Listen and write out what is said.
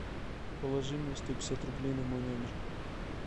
положи мне сто пятьдесят рублей на мой номер